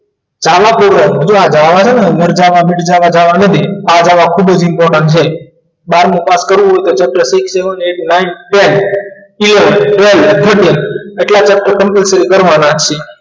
ચાલક પૂર્વક જો આ java હે ને મર જાવા મિટ જાવા java નથી આ જાવા ખૂબ જ important છે બારમો પાસ કરવું હોય તો six seven eight nine ten eleven twelve thirteen એટલા chapter complite કરવાના છીએ